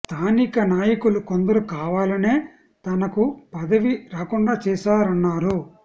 స్థానిక నాయకులు కొందరు కావాలనే తనకు పదవి రాకుండా చేశార న్నారు